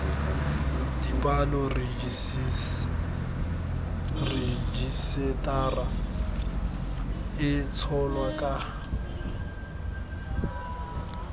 dipalo rejisetara e tsholwa ka